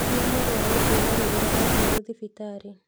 Cia mũrũaru kuuma rĩrĩa ookire thibitarĩ